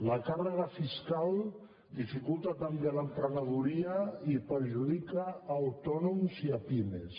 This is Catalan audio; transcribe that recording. la càrrega fiscal dificulta també l’emprenedoria i perjudica autònoms i pimes